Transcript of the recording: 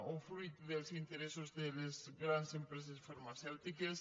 o fruit dels interessos de les grans empreses farmacèutiques